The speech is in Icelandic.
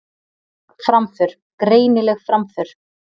Framför, greinileg framför